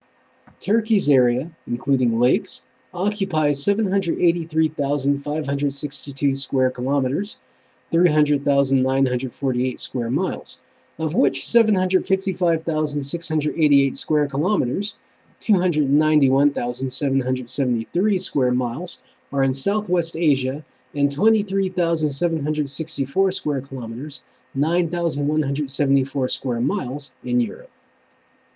turkey's area including lakes occupies 783,562 square kilometres 300,948 sq mi of which 755,688 square kilometres 291,773 sq mi are in south west asia and 23,764 square kilometres 9,174 sq mi in europe